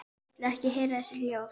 Vil ekki heyra þessi hljóð.